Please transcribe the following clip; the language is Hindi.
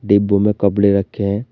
डिब्बों में कपड़े रखे हैं।